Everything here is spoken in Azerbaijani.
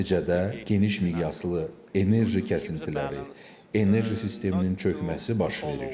Nəticədə geniş miqyaslı enerji kəsintiləri, enerji sisteminin çökməsi baş verir.